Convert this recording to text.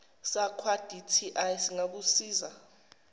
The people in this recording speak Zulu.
sakwa dti singakusiza